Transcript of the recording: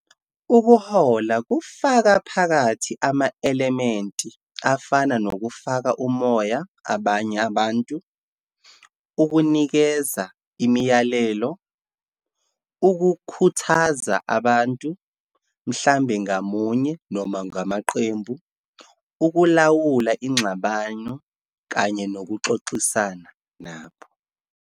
Ukuhola kufaka phakathi ama-elementi afana nokufaka umoya abanye abantu, ukunikeza imiyalelo, ukukhuthaza abantu, mhlampe ngamunye noma ngamaqembu, ukulawula ingxabano kanye nokuxoxisana nabo.